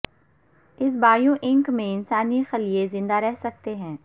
اس bio ink میں انسانی خلیے زندہ رہ سکتے ہیں